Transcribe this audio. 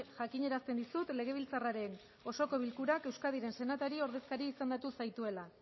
jakinarazten dizut legebiltzarraren osoko bilkurak euskadiren senatari ordezkari izendatu zaituela